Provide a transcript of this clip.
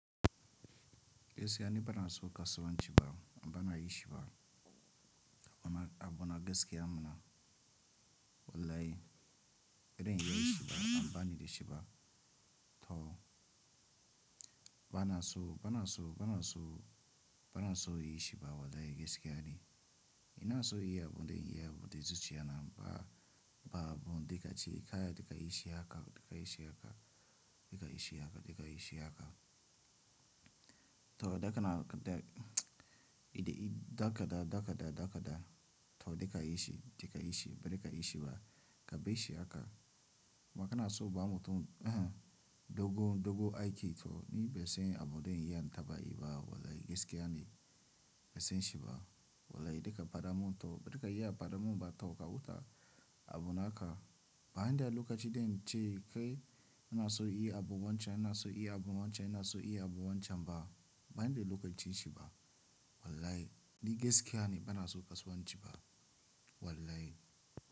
Gaskiya ni bana so kasuwanci ba, bana yi shi ba. A bu na gaske mana. Wallahi idan in yi shi ba, banida shi ba. To bana so, bana so, bana so, bana so yi shi ba wallahi gaskiya ne. Ina so yi abun da in yi abun da zuciya na ba, ba abun da ka ce, kaya da ka yi shi haka, da ka yi shi haka, da ka yi shi haka, da ka yi shi haka. To daga na idan daga da daga da daga da to da ka yi shi, da ka yi shi, ba da ka yi shi ba ka bai shi haka. Maka na so bamu tunda dogon dogon aiki to ni bai san abun da in yi an taɓa yi ba wallahi gaskiya ne. Bai san shi ba wallahi da ka faɗa mun to da ka yi a faɗa mun ba to ka wuta abu naka. Ba zan da lokaci den ce kai ina so yi abu wancan, ina so yi abu wancan, ina so yi abu wancan ba. Ban da lokacin shi ba wallahi ni gaskiya ne bana so kasuwanci ba wallahi.